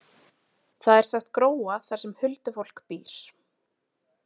Það er sagt gróa þar sem huldufólk býr.